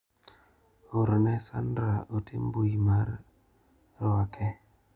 Orne Sandra ote mbui mar ruake.